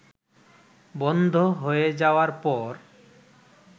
বন্ধ হয়ে যাওয়ার পর